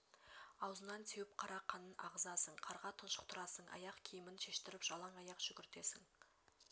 аузынан теуіп қара қанын ағызасың қарға тұншықтырасың аяқ киімін шештіріп жалаң аяқ жүгіртесің